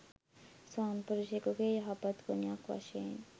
ස්වාමිපුරුෂයෙකුගේ යහපත් ගුණයක් වශයෙන්